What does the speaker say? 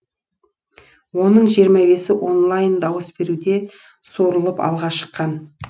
оның жиырма бесі онлайн дауыс беруде суырылып алға шыққан